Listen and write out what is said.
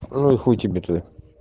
ну и хуй тебе тогда